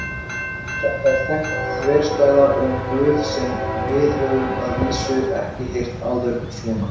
Þetta er þekkt þverstæða um Guð sem við höfum að vísu ekki heyrt áður svona.